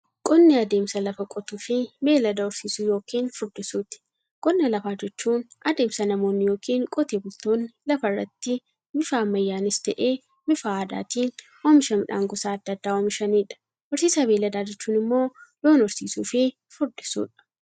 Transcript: Qonni adeemsa lafa qotuufi beeylada horsiisuu yookiin furdisuuti. Qonna lafaa jechuun adeemsa namoonni yookiin Qotee bultoonni lafarraatti bifa ammayyanis ta'ee, bifa aadaatiin oomisha midhaan gosa adda addaa oomishaniidha. Horsiisa beeyladaa jechuun immoo loon horsiisuufi furdisuudha.